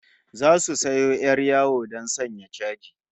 Zasu sayo 'yar yawo don sanya chaji